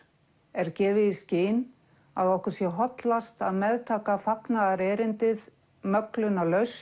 er gefið í skyn að okkur sé hollast að meðtaka fagnaðarerindið möglunarlaust